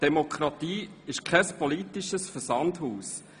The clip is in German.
Demokratie ist kein politisches Versandhaus.